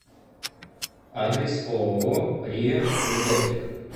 адрес ооо риа медоптик